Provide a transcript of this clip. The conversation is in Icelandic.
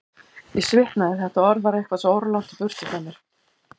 Ég svitnaði, þetta orð var eitthvað svo óralangt í burtu frá mér.